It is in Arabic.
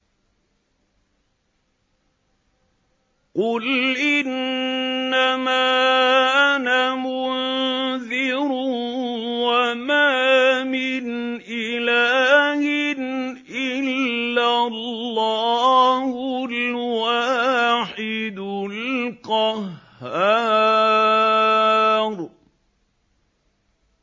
قُلْ إِنَّمَا أَنَا مُنذِرٌ ۖ وَمَا مِنْ إِلَٰهٍ إِلَّا اللَّهُ الْوَاحِدُ الْقَهَّارُ